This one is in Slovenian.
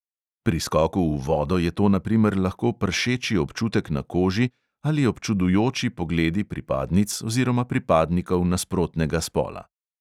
(pri skoku v vodo je to na primer lahko pršeči občutek na koži ali občudujoči pogledi pripadnic oziroma pripadnikov nasprotnega spola.)